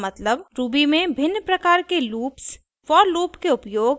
शब्द loop का मतलब ruby में भिन्न प्रकार के लूप्स